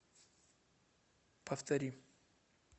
повтори